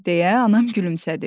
Deyə anam gülümsədi.